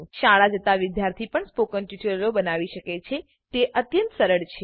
શાળા જતા વિદ્યાર્થી પણ સ્પોકન ટ્યુટોરીયલો બનાવી શકે છે તે અત્યંત સરળ છે